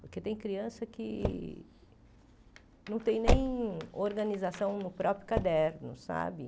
Porque tem criança que não tem nem organização no próprio caderno, sabe?